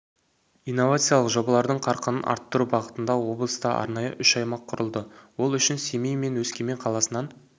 инновациялық жобалардың қарқынын арттыру бағытында облыста арнайы үш аймақ құрылды ол үшін семей мен өскемен қаласынан